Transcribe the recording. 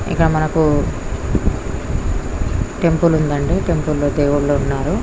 ఇక్కడ మనకు టెంపుల్ ఉంది అండి. టెంపుల్ లో దేవులు ఉన్నారు.